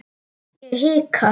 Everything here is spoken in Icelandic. Ég hika.